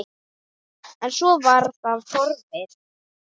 En svo var það horfið.